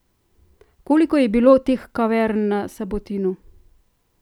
Koliko je bilo teh kavern na Sabotinu?